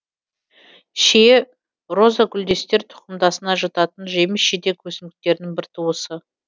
шие розагүлдестер тұқымдасына жататын жеміс жидек өсімдіктерінің бір туысы